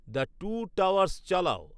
the two towers চালাও